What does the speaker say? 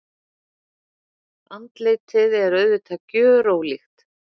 Andlitið er auðvitað gjörólíkt.